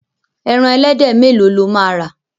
Ẹran ẹlẹ́dẹ̀ mẹ́lòó lo máa rà.